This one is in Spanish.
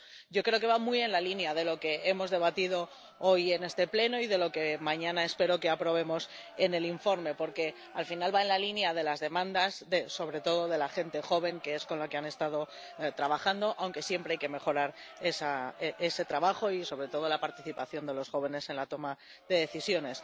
Pero yo creo que va muy en la línea de lo que hemos debatido hoy en este Pleno —y de lo que, mañana, espero que aprobemos en el informe— porque, al final, va en la línea de las demandas sobre todo de la gente joven, que es con la que han estado trabajando, aunque siempre hay que mejorar ese trabajo y, sobre todo, la participación de los jóvenes en la toma de decisiones.